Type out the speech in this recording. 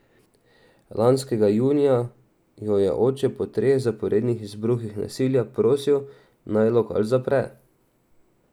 Lanskega junija jo je oče po treh zaporednih izbruhih nasilja prosil, naj lokal zapre.